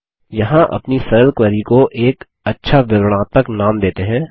यहाँ अपनी सरल क्वेरी को एक अच्छा विवरणात्मक नाम देते हैं